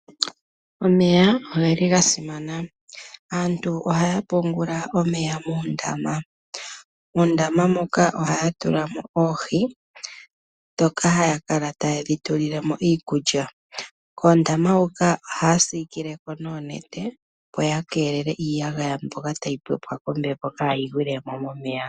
Omeya ogeli ga simana. Aantu ohaya pungula omeya muundama, nohaya tula mo oohi ndhoka haya kala ta yedhi tulilemo iikulya. Ohaya siikeleko oonete opo ya keelele iiyagaya mbyoka tayi pepwa kombepo kaayi gwilemo momeya.